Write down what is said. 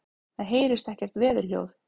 Það heyrist ekkert veðurhljóð.